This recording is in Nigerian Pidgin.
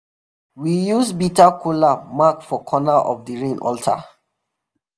we use bitter kola mark four corner of the rain altar.